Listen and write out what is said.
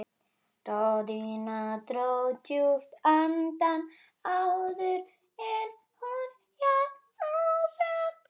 Daðína dró djúpt andann áður en hún hélt áfram.